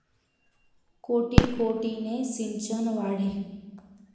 कोटी कोटीने 'सिंचन' वाढे!